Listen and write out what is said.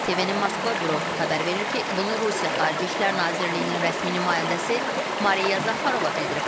TV-nin Moskva bürosu xəbər verir ki, bunu Rusiya Xarici İşlər Nazirliyinin rəsmi nümayəndəsi Mariya Zaxarova bildirib.